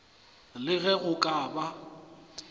le ge go ka ba